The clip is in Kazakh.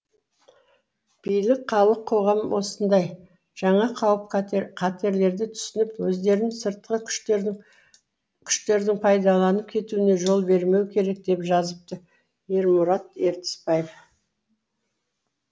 билік халық қоғам осындай жаңа қауіп қатерлерді түсініп өздерін сыртқы күштердің пайдаланып кетуіне жол бермеу керек деп жазыпты ермұрамат ертісбаев